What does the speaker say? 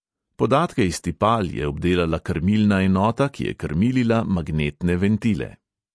Podatke iz tipal je obdelala krmilna enota, ki je krmilila magnetne ventile.